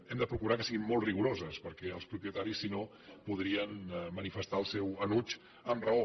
hem de procurar que siguin molt rigoroses perquè els propietaris si no podrien manifestar el seu enuig amb raó